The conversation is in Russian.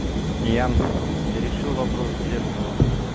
ян ты решил вопрос с зеркалом